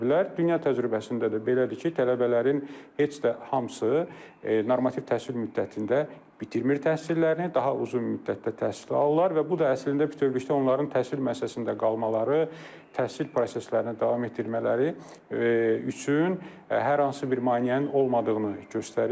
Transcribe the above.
Dünya təcrübəsində də belədir ki, tələbələrin heç də hamısı normativ təhsil müddətində bitirmir təhsillərini, daha uzun müddətdə təhsil alırlar və bu da əslində bütövlükdə onların təhsil müəssisəsində qalmaları, təhsil proseslərini davam etdirmələri üçün hər hansı bir maneənin olmadığını göstərir.